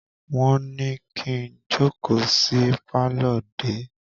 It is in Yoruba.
Wọ́n ní kí n jókòó sí pálọ̀ dè é!